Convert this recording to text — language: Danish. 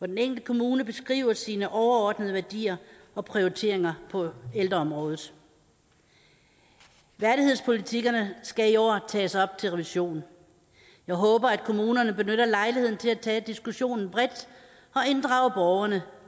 den enkelte kommune beskriver sine overordnede værdier og prioriteringer på ældreområdet værdighedspolitikkerne skal i år tages op til revision jeg håber at kommunerne benytter lejligheden til at tage diskussionen bredt og inddrage borgerne